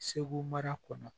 Segu mara kɔnɔ